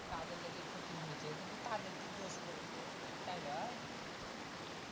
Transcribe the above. তাদের লেগি ক্ষতি হুং গেছে কিন্তু তাদের কি দোষ বোলো তো তাই লয়